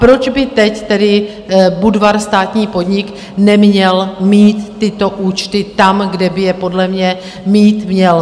Proč by teď tedy Budvar, státní podnik, neměl mít tyto účty tam, kde by je podle mě mít měl?